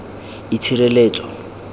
itshireletso